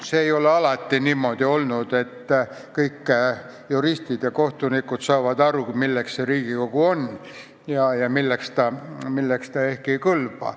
See ei ole alati niimoodi olnud, et kõik juristid ja kohtunikud saavad aru, milleks see Riigikogu on ja milleks ta ehk ei kõlba.